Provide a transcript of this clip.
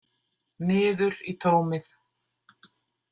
Niður í tómið.